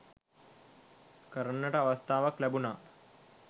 කරන්නට අවස්ථාවක් ලැබුනා.